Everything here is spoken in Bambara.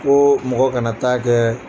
Ko mɔgɔ kana taa kɛ